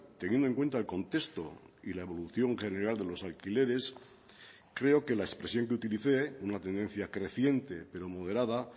teniendo en cuenta el contexto y la evolución general de los alquileres creo que la expresión que utilicé una tendencia creciente pero moderada